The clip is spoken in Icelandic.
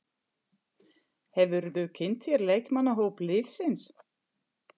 Hefurðu kynnt þér leikmannahóp liðsins?